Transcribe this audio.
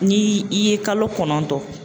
Ni i ye kalo kɔnɔntɔn